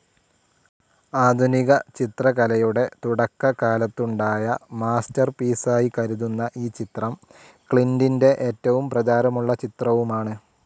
ആധുനികചിത്രകലയുടെ തുടക്കകാലത്തുണ്ടായ മാസ്റ്റർ പീസായി കരുതുന്ന ഈ ചിത്രം ക്ലിൻ്റിൻ്റെ ഏറ്റവും പ്രചാരമുള്ള ചിത്രവുമാണ്.